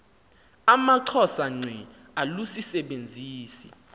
amaxhosa ngqe alusisebenzisi